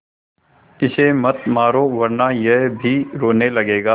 इसे मत मारो वरना यह भी रोने लगेगा